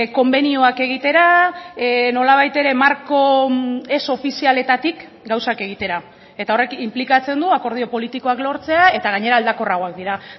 konbenioak egitera nolabait ere marko ez ofizialetatik gauzak egitera eta horrek inplikatzen du akordio politikoak lortzea eta gainera aldakorragoak dira